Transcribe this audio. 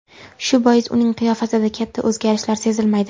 Shu bois uning qiyofasida katta o‘zgarishlar sezilmaydi.